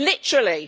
Literally!